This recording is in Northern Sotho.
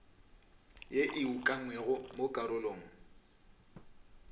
ye e ukangwego mo karolong